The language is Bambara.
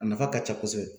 A nafa ka ca kosɛbɛ